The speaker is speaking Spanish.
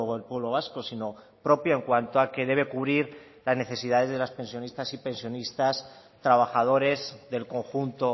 el pueblo vasco sino propio en cuanto a que debe cubrir las necesidades de las pensionistas y pensionistas trabajadores del conjunto